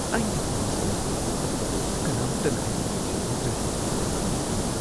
ꯑꯩꯅ ꯍꯅꯨꯁꯜꯂꯛꯂꯕ ꯑꯗꯨꯒ ꯀꯅꯥꯝꯇꯅ ꯑꯩꯕꯨ ꯌꯦꯡꯁꯤꯟꯕꯤꯗ꯭ꯔꯗꯤ ꯀꯃꯥꯏ ꯇꯧꯅꯤ?